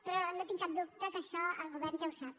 però no tinc cap dubte que això el govern ja ho sap